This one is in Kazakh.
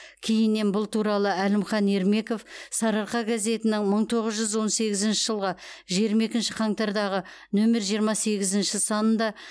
кейіннен бұл туралы әлімхан ермеков сарыарқа газетінің мың тоғыз жүз он сегізінші жылғы жиырма екінші қаңтардағы нөмір жиырма сегізінші санында